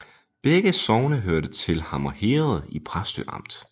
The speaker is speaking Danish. Begge sogne hørte til Hammer Herred i Præstø Amt